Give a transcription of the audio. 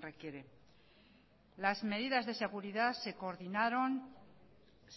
requiere las medidas de seguridad se coordinaron